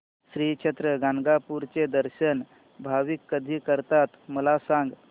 श्री क्षेत्र गाणगापूर चे दर्शन भाविक कधी करतात मला सांग